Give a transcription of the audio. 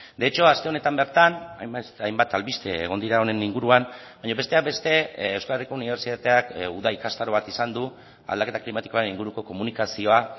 de hecho aste honetan bertan hainbat albiste egon dira honen inguruan baina besteak beste euskadiko unibertsitateak uda ikastaro bat izan du aldaketa klimatikoaren inguruko komunikazioa